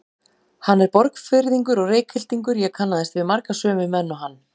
Hann er Borgfirðingur og Reykhyltingur, ég kannaðist við marga sömu menn og hann.